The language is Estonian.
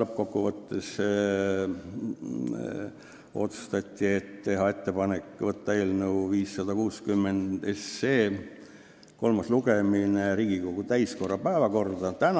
Lõppkokkuvõttes otsustati teha ettepanek võtta eelnõu 560 kolmas lugemine Riigikogu täiskogu päevakorda 16.